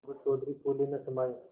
अलगू चौधरी फूले न समाये